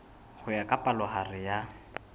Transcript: ho ya ka palohare ya